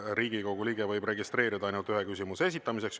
Riigikogu liige võib registreeruda ainult ühe küsimuse esitamiseks.